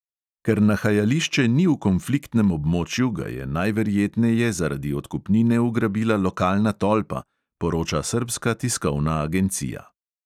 Ker nahajališče ni v konfliktnem območju, ga je najverjetneje zaradi odkupnine ugrabila lokalna tolpa, poroča srbska tiskovna agencija.